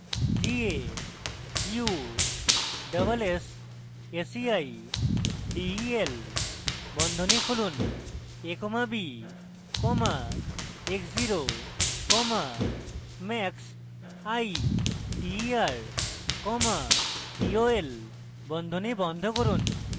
g a u s s s e i d e l বন্ধনী খুলুন a comma b comma x zero comma m a x i t e r comma t o l বন্ধনী বন্ধ করুন